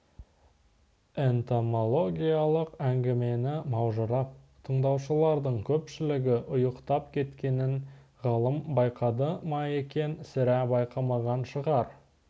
энтомологиялық әңгімені маужырап тыңдаушылардың көпшілігі ұйықтап кеткенін ғалым байқады ма екен сірә байқамаған шығар